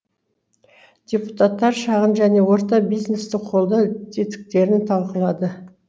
депутаттар шағын және орта бизнесті қолдау тетіктерін талқылады